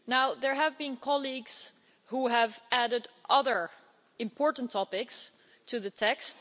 There have been colleagues who have added other important topics to the text.